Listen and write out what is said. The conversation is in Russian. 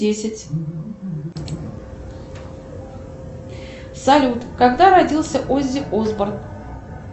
десять салют когда родился оззи осборн